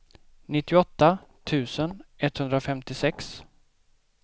nittioåtta tusen etthundrafemtiosex